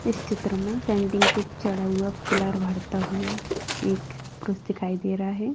S चित्र मे centring पर चढ़ा हुआ पिलर भरता हुआ एक पुरूष दिखाई दे रहा है।